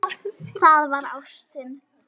Það var ástin.